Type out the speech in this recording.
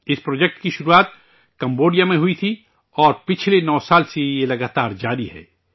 اس project کی شروعات Cambodia میں ہوئی تھی اور پچھلے 9 برسوں سے یہ مسلسل جاری ہے